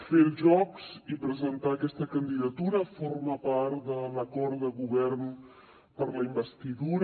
fer els jocs i presentar aquesta candidatura forma part de l’acord de govern per a la investidura